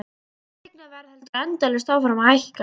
Fasteignaverð heldur endalaust áfram að hækka.